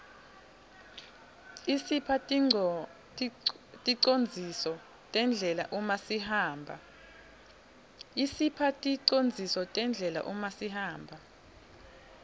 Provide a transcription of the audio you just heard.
isipha ticondziso terdlela umasihamba